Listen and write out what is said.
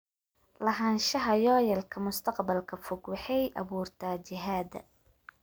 Lahaanshaha yoolalka mustaqbalka fog waxay abuurtaa jihada.